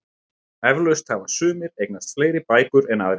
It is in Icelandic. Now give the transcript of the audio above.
Eflaust hafa sumir eignast fleiri bækur en aðrir.